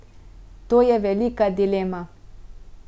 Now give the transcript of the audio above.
To je velika dilema.